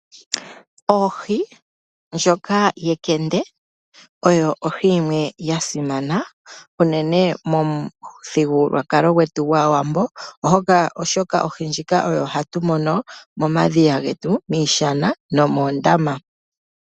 Ohi ndjoka yenkende oyo ohi yimwe yasimana unene momuthigululwakalo gwetu gwAawambo, oshoka ohi ndjika oyo hatu mono momadhiya getu miishana nomoondama.